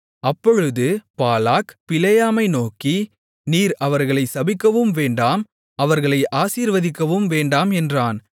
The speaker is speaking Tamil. அப்பொழுது பாலாக் பிலேயாமை நோக்கி நீர் அவர்களைச் சபிக்கவும் வேண்டாம் அவர்களை ஆசீர்வதிக்கவும் வேண்டாம் என்றான்